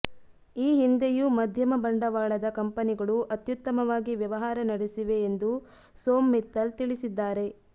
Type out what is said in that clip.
ಈ ಹಿಂದೆಯೂ ಮಧ್ಯಮ ಬಂಡವಾಳದ ಕಂಪನಿಗಳು ಅತ್ಯುತ್ತಮವಾಗಿ ವ್ಯವಹಾರ ನಡೆಸಿವೆ ಎಂದು ಸೋಮ್ ಮಿತ್ತಲ್ ತಿಳಿಸಿದ್ದಾರೆ